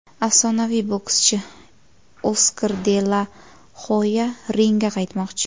Afsonaviy bokschi Oskar de la Hoya ringga qaytmoqchi !